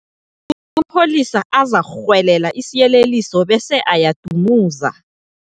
Amapholisa azakurhwelela isiyeleliso bese ayadumuza.